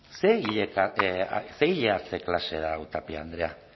ez ze ile hartze klase da hau tapia andrea